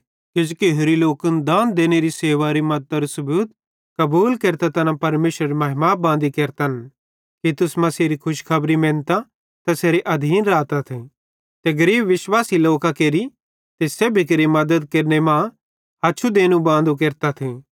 किजोकि होरि लोकन दान देनेरी मद्दतरी सेवारू सबूत कबूल केरतां तैना परमेशरेरी महिमा बांदी केरतन कि तुस मसीहेरी खुशखबरी मेनतां तैसेरे आधीन रातथ ते गरीब विश्वासी लोकां केरि ते सेब्भी केरि मद्दत केरने मां हच्छु देनू बांदू केरतथ